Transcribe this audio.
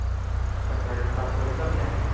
ਚੰਗਾ ਰਿਸ਼ਤਾ ਫਿਰ ਕਰ ਲਿਆ